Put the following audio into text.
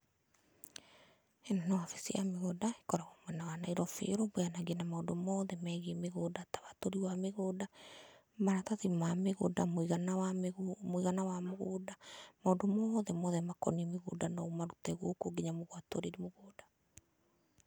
ĩno nĩ wabici ya mĩgũnda ĩkoragwo mwena wa Nairobi ĩrũmbũyanagia na maũndũ mothe megiĩ mĩgũnda ta watũri wa mĩgũnda, maratathi ma mĩgũnda, mũigana wa mũgũnda , maũndũ mothe mothe makoniĩ mĩgũnda no ũmarute gũkũ nginya gũatũrĩrwo mũgũnda.